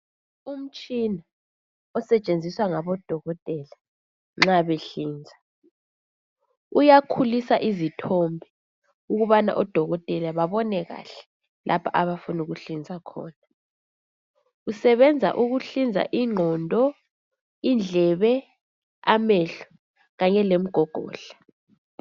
Umtshina osetshenziswa ngabodokotela nxa behlinza uyakhulusa izithombe ukubana odokotela babone kahle lapho abafuna ukuhlinza khona usebenza ukuhlinza ingqondo, indlebe, amehlo Kanye lemigogodla